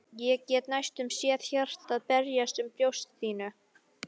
Ég get næstum séð hjartað berjast um í brjósti þínu.